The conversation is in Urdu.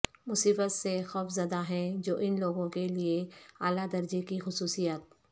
مصیبت سے خوفزدہ ہیں جو ان لوگوں کے لئے اعلی درجے کی خصوصیات